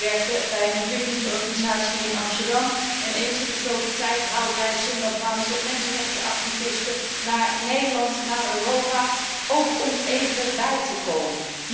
Ik werkte bij een ontwikkelingsorganisatie in Amsterdam en eens in de zoveel tijd haalden wij Zimbabwaanse mensenrechtenactivisten naar Nederland, naar Europa, ook om even bij te komen.